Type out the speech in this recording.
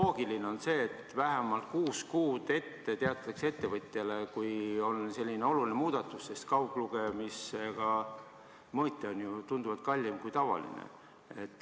Loogiline on see, et ettevõtjale teatatakse vähemalt kuus kuud ette, kui on selline oluline muudatus, sest kauglugemise funktsiooniga mõõtja on ju tunduvalt kallim kui tavaline.